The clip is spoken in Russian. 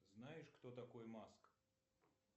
знаешь кто такой маск